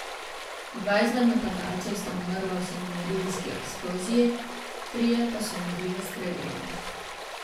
Dva izmed napadalcev sta umrla v samomorilski eksploziji, trije pa so umrli v streljanju.